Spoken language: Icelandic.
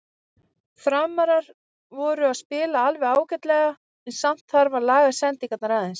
Framarar voru að spila alveg ágætlega en samt þarf að laga sendingarnar aðeins.